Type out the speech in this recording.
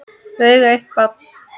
Þau eiga eitt barn.